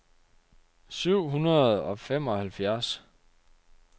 syv hundrede og femoghalvfjerds